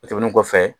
O tɛmɛnen kɔfɛ